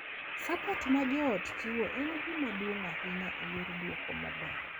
Suport ma joot chiwo en gima duong’ ahinya e yor dwoko maber.